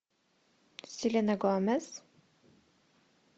селена гомес